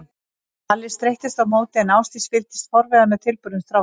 Palli streittist á móti en Ásdís fylgdist forviða með tilburðum strákanna.